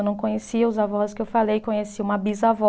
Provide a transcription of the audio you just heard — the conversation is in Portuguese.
Eu não conhecia os avós que eu falei, conheci uma bisavó.